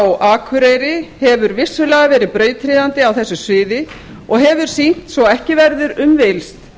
á akureyri hefur vissulega verið brautryðjandi á þessu sviði og hefur sýnt svo ekki verður um villst